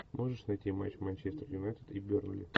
можешь найти матч манчестер юнайтед и бернли